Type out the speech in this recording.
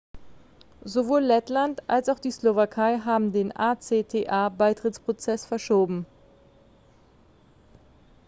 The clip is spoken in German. sowohl lettland als auch die slowakei haben den acta-beitrittsprozess verschoben